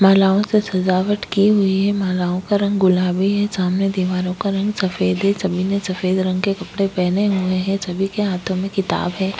मालाओ से सजावट की हुई है मालाओं का रंग गुलाबी है सामने दीवारो का रंग सफ़ेद है सभी ने सफ़ेद रंग के कपड़े पहने हुए है सभी के हाथो में किताब है।